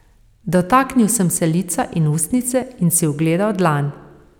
Dotaknil sem se lica in ustnice in si ogledal dlan.